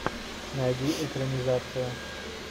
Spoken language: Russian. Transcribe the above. найди экранизацию